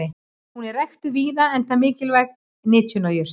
hún er ræktuð víða enda mikilvæg nytjajurt